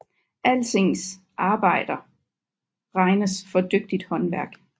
Alsings arbejder regnes for dygtigt håndværk